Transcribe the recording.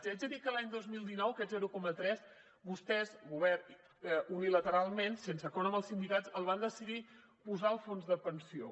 i haig de dir que a l’any dos mil dinou aquest zero coma tres vostès govern unilateralment sense acord amb els sindicats el van decidir posar al fons de pensió